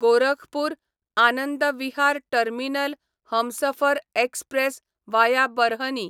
Gorakhpur Anand Vihar terminal Humsafar express via Barhni